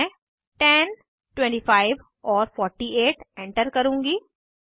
मैं 10 25 और 48 एंटर करुँगी